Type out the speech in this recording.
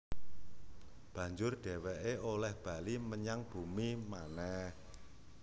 Banjur dhèwèké olèh bali menyang bumi manèh